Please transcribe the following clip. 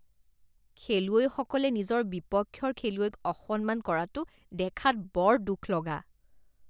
খেলুৱৈসকলে নিজৰ বিপক্ষৰ খেলুৱৈক অসন্মান কৰাটো দেখাত বৰ দুখ লগা